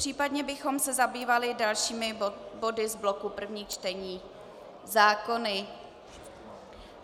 Případně bychom se zabývali dalšími body z bloku prvních čtení - zákony.